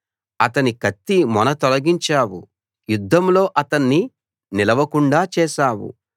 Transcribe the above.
అతని కత్తిమొన తొలగించావు యుద్దంలో అతన్ని నిలవకుండా చేశావు